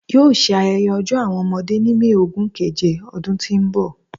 Yoo ṣe ayẹyẹ Ọjọ Awọn ọmọde ni May ogun keje ọdun ti n bọ